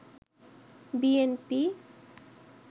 B N P